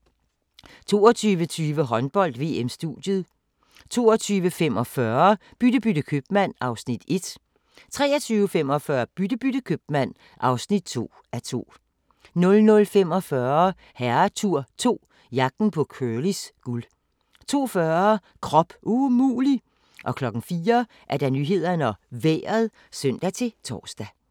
22:20: Håndbold: VM - studiet 22:45: Bytte bytte købmand (1:2) 23:45: Bytte bytte købmand (2:2) 00:45: Herretur 2 – Jagten på Curlys guld 02:40: Krop umulig! 04:00: Nyhederne og Vejret (søn-tor)